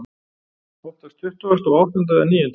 Oftast tuttugasta og áttunda eða níunda.